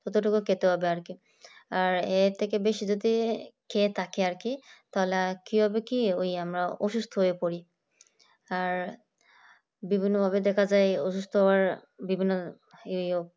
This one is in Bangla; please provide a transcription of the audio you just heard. যতটুকু খেতে হবে আর কি, আর এর থেকে বেশি যদি খেয়ে থাকি আর কি তাহলে আর কি হবে কি ওই আমরা অসুস্থ হয়ে পড়ি। আর বিভিন্ন ভাবে দেখা যায় অসুস্থ বিভিন্ন এই